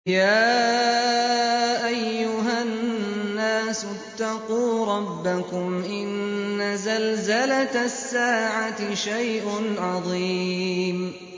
يَا أَيُّهَا النَّاسُ اتَّقُوا رَبَّكُمْ ۚ إِنَّ زَلْزَلَةَ السَّاعَةِ شَيْءٌ عَظِيمٌ